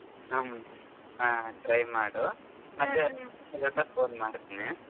ಹ್ಮ್ ಹಾ try ಮಾಡು ಮತ್ತೆ phone ಮಾಡ್ತೀನಿ.